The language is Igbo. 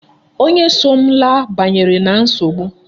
Onye so m laa banyere na nsogbu.